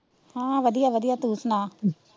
ਹਾਂ ਵਧੀਆ ਵਧੀਆ ਤੂ ਸਨਾ,